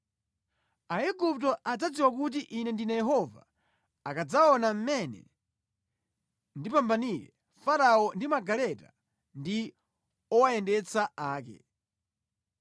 Aigupto adzadziwa kuti Ine ndine Yehova akadzaona mmene ndipambanire Farao ndi magaleta ndi owayendetsa ake.”